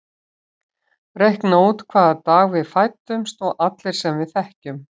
Reikna út hvaða dag við fæddumst og allir sem við þekkjum.